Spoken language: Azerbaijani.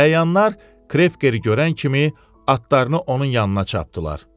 Əyanlar Krevkeri görən kimi atlarını onun yanına çapdırdılar.